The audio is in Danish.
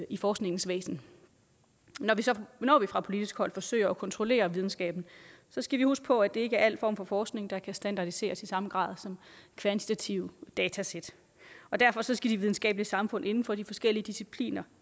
i forskningens væsen når vi fra politisk hold forsøger at kontrollere videnskaben skal vi huske på at det ikke er al form for forskning der kan standardiseres i samme grad som kvantitative datasæt og derfor skal de videnskabelige samfund inden for de forskellige discipliner